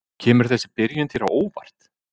Kemur þessi byrjun þér á óvart?